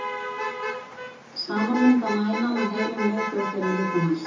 Saman mynda mænan og heilinn miðtaugakerfi líkamans.